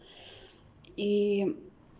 и